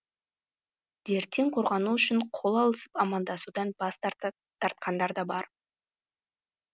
дерттен қорғану үшін қол алысып амандасудан бас тартқандар да бар